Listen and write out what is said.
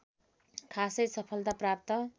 खासै सफलता प्राप्त